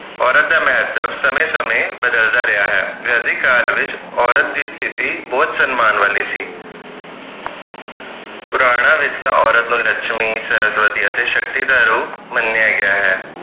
ਔਰਤ ਦਾ ਮਹੱਤਵ ਸਮੇਂ ਸਮੇਂ ਬਦਲਦਾ ਰਿਹਾ ਹੈ ਵੈਦਿਕ ਕਾਲ ਵਿਚ ਔਰਤ ਦੀ ਸਤਿਥੀ ਬਹੁਤ ਸੰਮਾਨ ਵਾਲੀ ਸੀ ਪੁਰਾਣਾ ਵਿਰਸਾ ਔਰਤ ਨੂੰ ਲਕਸ਼ਮੀ ਸਰਸਵਤੀ ਅਤੇ ਸ਼ਕਤੀ ਦਾ ਰੂਪ ਮੰਨਿਆ ਗਿਆ ਹੈ